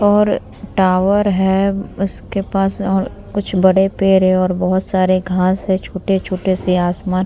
और टावर है उसके पास और कुछ बड़े पेड़ है और बहुत सारे घास है छोट-छोटे से आसामान --